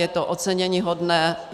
Je to oceněníhodné.